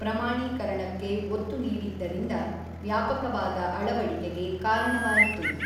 ಪ್ರಮಾಣೀಕರಣಕ್ಕೆ ಒತ್ತು ನೀಡಿದ್ದರಿಂದ ವ್ಯಾಪಕವಾದ ಅಳವಡಿಕೆಗೆ ಕಾರಣವಾಯಿತು.